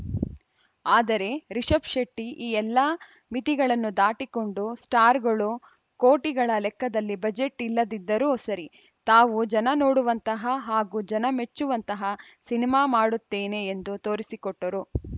ಆದರೆ ರಿಷಬ್‌ ಶೆಟ್ಟಿಈ ಎಲ್ಲ ಮಿತಿಗಳನ್ನು ದಾಟಿಕೊಂಡು ಸ್ಟಾರ್‌ಗಳು ಕೋಟಿಗಳ ಲೆಕ್ಕದಲ್ಲಿ ಬಜೆಟ್‌ ಇಲ್ಲದಿದ್ದರೂ ಸರಿ ತಾವು ಜನ ನೋಡುವಂತಹ ಹಾಗೂ ಜನ ಮೆಚ್ಚುವಂತಹ ಸಿನಿಮಾ ಮಾಡುತ್ತೇನೆ ಎಂದು ತೋರಿಸಿಕೊಟ್ಟರು